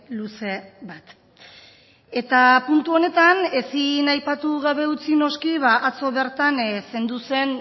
luze bat eta puntu honetan ezin aipatu gabe utzi noski atzo bertan zendu zen